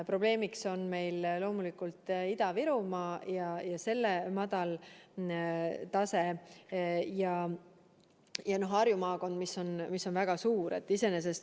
Probleemiks on meil loomulikult Ida-Virumaa ja selle madal tase ning Harju maakond, mis on väga suur.